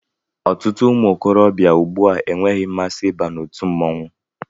Ọtụtụ ụmụ okorobịa ùgbúà enweghị mmasị ịba n'otu mmọnwụ